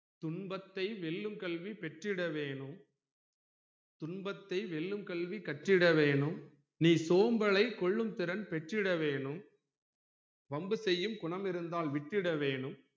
துன்பத்தை வெல்லும் கல்வி பெற்றிட வேணும் துன்பத்தை வெல்லும் கல்வி கற்றிட வேணும் நீ சோம்பலை கொல்லும் திறன் பெற்றிட வேணும் வம்பு செய்யும் குணம் இருந்தால் விட்டுட வேணும்